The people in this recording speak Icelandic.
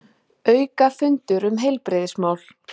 Aukafundur um heilbrigðismál